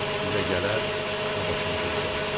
Bizə gələr və başımızı ucaldar.